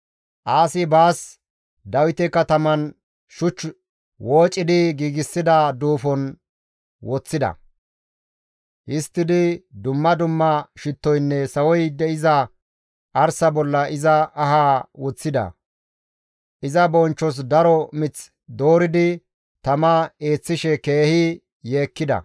Aasi baas Dawite kataman shuch woocidi giigsida duufon woththida. Histtidi dumma dumma shittoynne sawoy de7iza arsa bolla iza ahaa woththida. Iza bonchchos daro mith dooridi tama eeththishe keehi yeekkida.